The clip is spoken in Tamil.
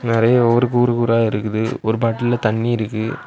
நெறயா ஒரு கூறு கூறா இருக்குது ஒரு பாட்டுல்ல தண்ணி இருக்கு.